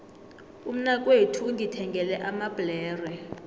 umnakwethu ungithengele amabhlere